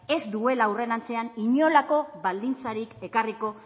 ez duela aurrerantzean inolako baldintzarik ekarriko